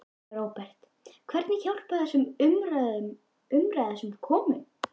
Róbert: Hvernig hjálpar þessi umræða þessum konum?